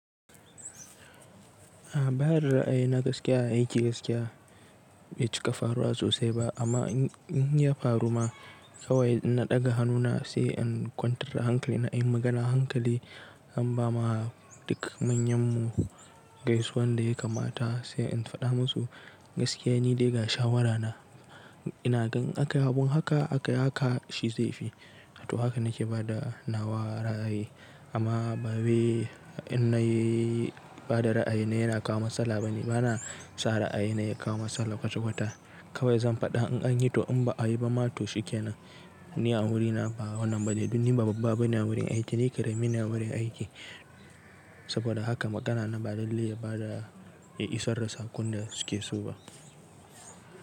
A ba ysdda za'a yi na gaskiya, a yi aiki gaskiya, bai cika faruwa sosai ba, amma in ya faru ma kawai in na ɗaga hannuna sai in kwantar da hankali na, in magana hankali, in ba ma dukan manyan mu gaisuwan da ya kamata sai in faɗa musu gaskiya nidai ga shawarana. Ina ga in aka yi abun haka, aka yi haka shi zai fi. To haka nake bada nawa ra'ayi amma bawau in na yi bada ra'ayina yana kawo matsala bane. Bana sa ra'ayina ya kawo matsala kwata kwata. Kawai zan faɗa in an yi to in ba a yi ba ma to shi ke nan. Ni a wurina ba wannan bane, duk ni babba bane wurin aiki, ni karamine wurin aiki saboda haka magana na ba lallai yaba da ya isar da saƙon da suke so ba.